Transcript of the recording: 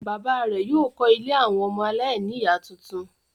Bàbá rẹ̀ yóò kọ́ ilé àwọn ọmọ aláìníìyá tuntun.